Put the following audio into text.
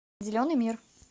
зеленый мир